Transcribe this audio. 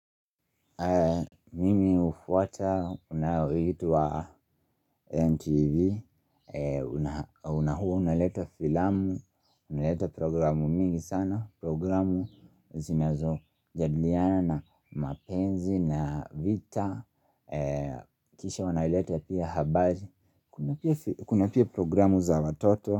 Mimi ufuata, unaoitwa NTV na hua, unaleta filamu, unaleta programu mingi sana Programu zinazo jadiliana na mapenzi na vita Kisha wanaleta pia habari Kuna pia programu za watoto.